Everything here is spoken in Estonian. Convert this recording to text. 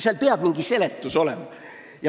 Sellele peab mingi seletus olema.